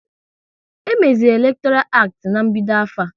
E meziri elektoral acti ná-mbido afọ a